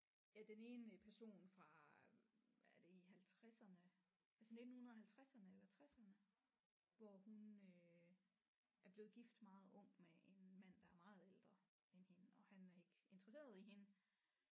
Ja den ene person fra er det i halvtredserne det er sådan nittenhundredehalvtredserne eller tresserne hvor hun øh er blevet gift meget ung med en mand der er meget ældre end hende og han er ikke interesseret i hende